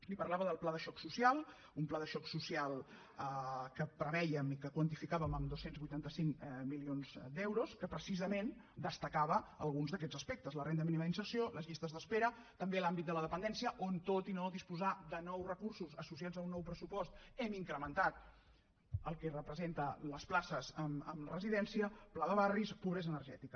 li parlava del pla de xoc social un pla de xoc social que prevèiem i que quantificàvem en dos cents i vuitanta cinc milions d’euros que precisament destacava alguns d’aquests aspectes la renda mínima d’inserció les llistes d’espera també l’àmbit de la dependència on tot i no disposar de nous recursos associats a un nou pressupost hem incrementat el que representen les places en residència pla de barris pobresa energètica